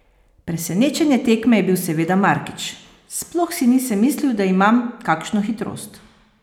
Presenečenje tekme je bil seveda Markič: "Sploh si nisem mislil, da imam kakšno hitrost.